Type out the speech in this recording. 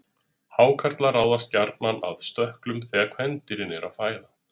Hákarlar ráðast gjarnan að stökklum þegar kvendýrin eru að fæða.